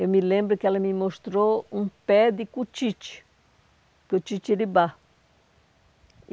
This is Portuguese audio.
Eu me lembro que ela me mostrou um pé de cutite, cutitiribá.